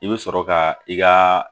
I bɛ sɔrɔ ka i ka